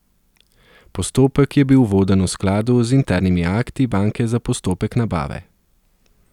Postopek je bil voden v skladu z internimi akti banke za postopek nabave.